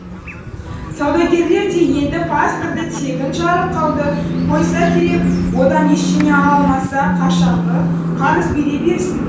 саудагерлер де енді пасторды тегін жарылқауды қойса керек одан ештеңе ала алмаса қашанғы қарыз бере берсін